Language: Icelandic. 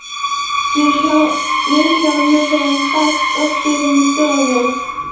Við Vilhjálmur höfum fært okkur inn í stofu.